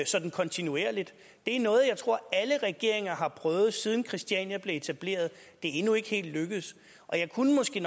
sådan kontinuerligt det er noget jeg tror at alle regeringer har prøvet siden christiania blev etableret det er endnu ikke helt lykkedes jeg kunne måske